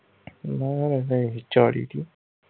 ਕਹਿੰਦੇ ਹੀ ਚਾਲੀ ਦੀ।